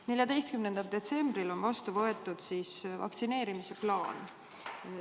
14. detsembril on vastu võetud vaktsineerimise plaan.